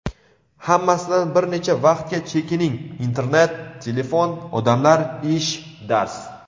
Hammasidan bir necha vaqtga chekining, internet, telefon, odamlar, ish, dars.